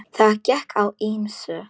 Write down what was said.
Það gekk á ýmsu.